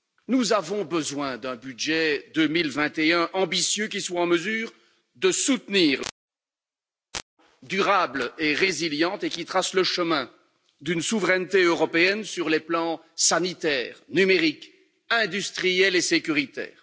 Nous avons besoin d'un budget 2021 ambitieux, qui soit en mesure de soutenir durables et résilientes et qui tracent le chemin d'une souveraineté européenne sur les plans sanitaire, numérique, industriel et sécuritaire.